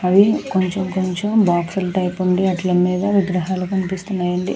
అవి కొంచెం కొంచెం బాక్స్ ల టైపు ఉంది అక్కడ విగ్రహాలు కనపడుతునాయి.